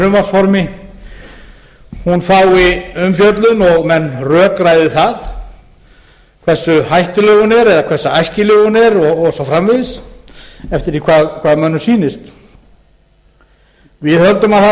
í frumvarpsformi fái umfjöllun og menn rökræði það hversu hættuleg hún er eða hversu æskileg hún er og svo framvegis eftir því hvað mönnum sýnist við höldum að það sé